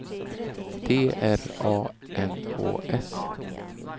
T R A N Å S